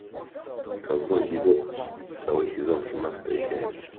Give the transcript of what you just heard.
ковбой бибоп второй сезон семнадцатая серия